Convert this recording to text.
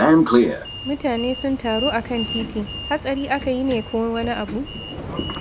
Mutane sun taru a kan titi. Hatsari aka yi ne ko wani abu?